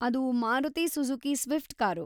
ಅದು Maruti Suzuki Swift car.